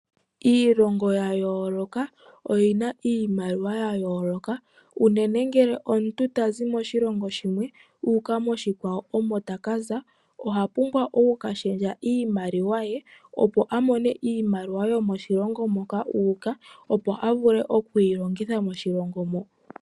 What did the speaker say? Iilongo yayooloka oyina iimaliwa yayooloka unene ngele omuntu tazi moshilongo shimwe uka moshikwawo omo takaza ohapumbwa okukashendja iimaliwa ye opo amone iimaliwa yomoshilongo moka uuka, opo avule okuyi longitha moshilongo moka.